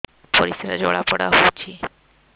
ପରିସ୍ରା ଜଳାପୋଡା ହଉଛି